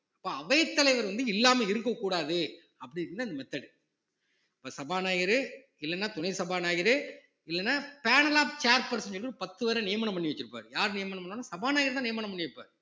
இப்ப அவைத்தலைவர் வந்து இல்லாம இருக்கக் கூடாது அப்படின்னுதான் இந்த method இப்ப சபாநாயகரே இல்லைன்னா துணை சபாநாயகரே இல்லைன்னா panel of chair person ன்னு சொல்லி ஒரு பத்து பேரை நியமனம் பண்ணி வச்சிருப்பார் யார் நியமனம் பண்ணனும் சபாநாயகர்தான் நியமனம் பண்ணி வைப்பாரு